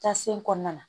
Taa sen kɔnɔna na